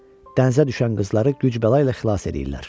Dənizə düşən qızları güc-bəla ilə xilas eləyirlər.